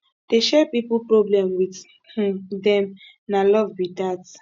dey share pipu problem wit um dem na love be dat